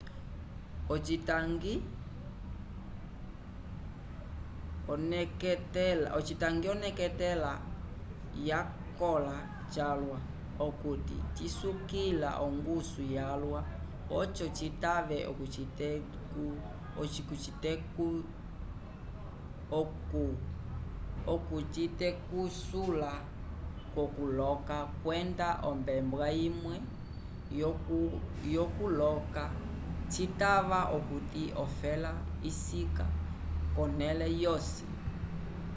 ocitangi oneketela yakõla calwa okuti cisukila ongusu yalwa oco citave okucitetusula k'okuloka kwenda ombela imwe-vo k'okuloka citava okuti ofela isika konẽle vyosi